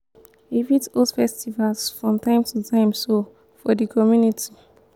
we fit host festivals from time to time so for di community